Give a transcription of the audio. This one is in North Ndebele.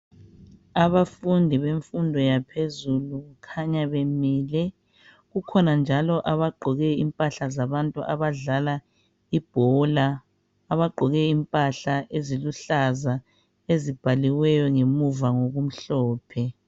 Abafundi bemfundo yaphezulu kukhanya bemile. Kukhona njalo abagqoke impahla zabantu abadlala ibhola abagqoke impahla eziluhlaza ezibhaliweyo ngemuva ngokumhlophe.